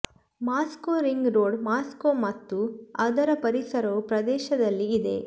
Moscow ring road Moscow ಮತ್ತು ಅದರ ಪರಿಸರವು ಪ್ರದೇಶದಲ್ಲಿ ಇದೆ